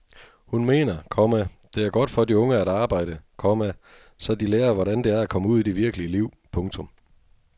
Hun mener, komma det er godt for de unge at arbejde, komma så de lærer hvordan det er at komme ud i det virkelige liv. punktum